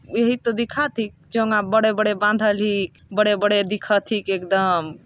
इहि तो दिखती चोंगा बड़े- बड़े बांधल ही बड़े -बड़े दिखल ही एक दाम--